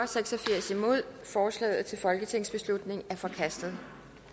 seks og firs forslaget til folketingsbeslutning er forkastet